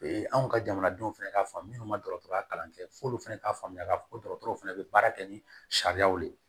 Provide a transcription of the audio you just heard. anw ka jamanadenw fɛnɛ ka faamu munnu ma dɔgɔtɔrɔya kalan kɛ f'olu fɛnɛ k'a faamuya k'a fɔ ko dɔgɔtɔrɔw fɛnɛ be baara kɛ ni sariyaw de ye